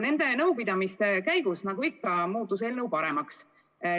Nende nõupidamiste käigus, nagu ikka, muutus eelnõu paremaks.